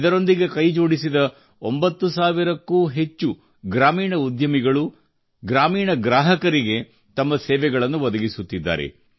ಇದರೊಂದಿಗೆ ಕೈಜೋಡಿಸಿದ 9000 ಕ್ಕೂ ಅಧಿಕ ಗ್ರಾಮೀಣ ಉದ್ಯಮಿಗಳು ಗ್ರಾಮೀಣ ಗ್ರಾಹಕರಿಗೆ ತಮ್ಮ ಸೇವೆಗಳನ್ನು ಒದಗಿಸುತ್ತಿದ್ದಾರೆ